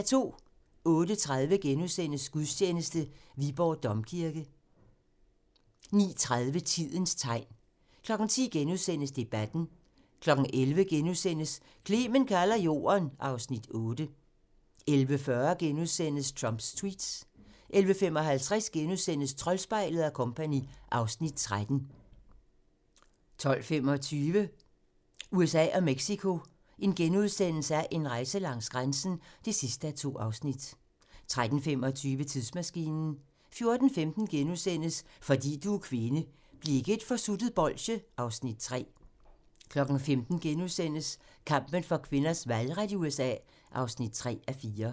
08:30: Gudstjeneste: Viborg Domkirke * 09:30: Tidens tegn 10:00: Debatten * 11:00: Clement kalder Jorden (Afs. 8)* 11:40: Trumps tweets * 11:55: Troldspejlet & Co. (Afs. 13)* 12:25: USA og Mexico: En rejse langs grænsen (2:2)* 13:25: Tidsmaskinen 14:15: Fordi du er kvinde: Bliv ikke et forsuttet bolsje (Afs. 3)* 15:00: Kampen for kvinders valgret i USA (3:4)*